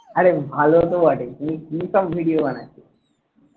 আরে ভালো তো বটেই কিন্তু কিসব video বানাচ্ছিস